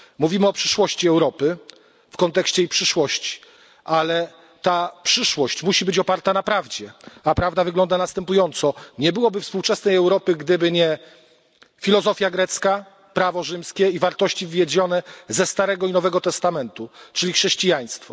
Mówimy o przeszłości Europy w kontekście jej przyszłości, ale ta przyszłość musi być oparta na prawdzie, a prawda wygląda następująco nie byłoby współczesnej Europy, gdyby nie filozofia grecka, prawo rzymskie i wartości wywiedzione ze Starego i Nowego Testamentu, czyli chrześcijaństwo.